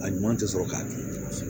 A ɲuman tɛ sɔrɔ k'a dun